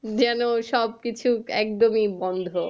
যেন সব কিছু একদমই বন্ধ একদম আসলেই শীত আছে